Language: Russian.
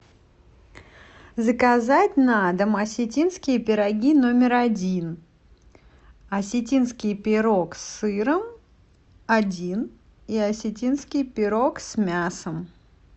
заказать на дом осетинские пироги номер один осетинский пирог с сыром один и осетинский пирог с мясом